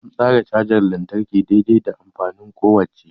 An tsara cajar lantarki dai-dai da amfanin kowacce.